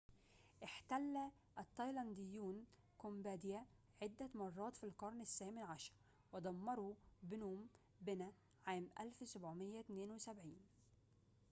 احتل التايلانديون كامبوديا عدة مرات في القرن الثامن عشر ودمروا بنوم بنه عام 1772